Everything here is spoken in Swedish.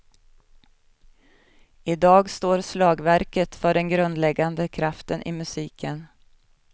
I dag står slagverket för den grundläggande kraften i musiken.